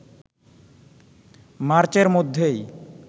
মার্চের মধ্যেই